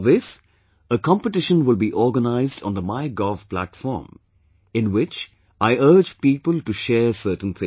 For this, a competition will be organized on the MyGov platform, in which I urge people to share certain things